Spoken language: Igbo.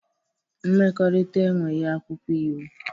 Mmekọrịta enweghị akwụkwọ iwu.